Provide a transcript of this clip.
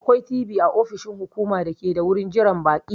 Akwai TV a ofishin hukuma dake da wurin jiran baƙi.